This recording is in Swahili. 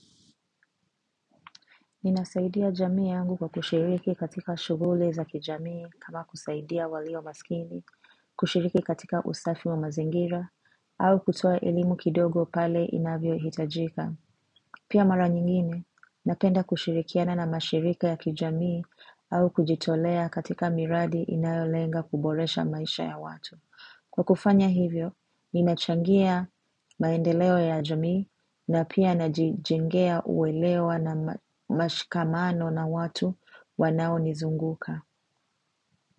Ninasaidia jamii yangu kwa kushiriki katika shuguli za kijamii kama kusaidia walio masikini, kushiriki katika usafi wa mazingira, au kutoa elimu kidogo pale inavyo hitajika. Pia mara nyingine, napenda kushirikiana na mashirika ya kijamii au kujitolea katika miradi inayolenga kuboresha maisha ya watu. Kwa kufanya hivyo, ninachangia maendeleo ya jamii na pia najijengea uwelewa na mashikamano na watu wanao nizunguka.